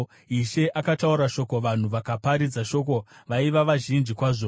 Ishe akataura shoko, vanhu vakaparidza shoko vaiva vazhinji kwazvo: